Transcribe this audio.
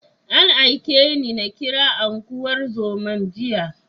An aike ni na kira unguwar zoman jiya.